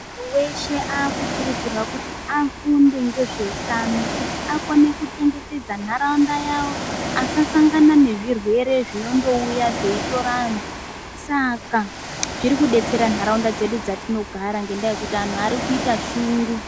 Muntu weshe aku kurudzirwa kuti afunde nge zveutano kuti akone ku chengetedza nauraunda yavo asa sangana nezvi rwere zvinondo uya zvei tora antu saka zviri kudetsera ntaraunda yedu dzatino gara ngekuti antu arikuita shungu.